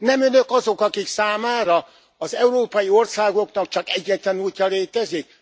Nem önök azok, akik számára az európai országoknak csak egyetlen útja létezik?